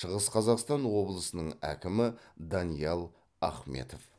шығыс қазақстан облысының әкімі даниал ахметов